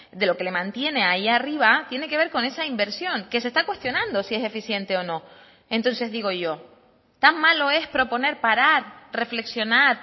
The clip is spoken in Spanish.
de lo que le mantiene ahí arriba tiene que ver con esa inversión que se está cuestionando si es eficiente o no entonces digo yo tan malo es proponer parar reflexionar